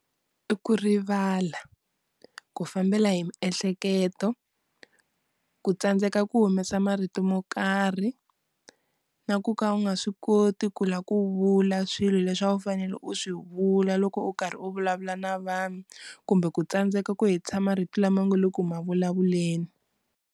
I ku rivala, ku fambela hi miehleketo, ku tsandzeka, ku humesa marito mo karhi na ku ka u nga swi koti ku la ku vula swilo leswi u fanele u swi vula loko u karhi u vulavula na vanhu kumbe ku tsandzeka ku hetisa marito lama u nga le ku ma vulavuleni.